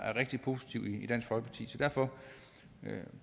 er rigtig positivt så derfor